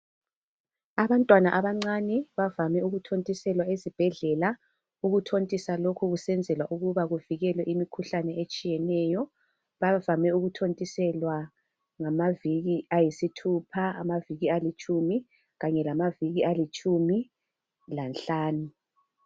Abantwana abancane bavame ukuthontiselwa ezibhedlela. Ukuthontisa lokhu kusenzelwa ukuba bavikele imikhuhlane etshiyeneyo .Bavame ukuthontiselwa ngamaviki ayisithupha ,amaviki alitshumi kanye lamaviki alitshumi lanhlanu.